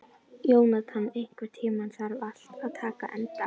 Jónatan, einhvern tímann þarf allt að taka enda.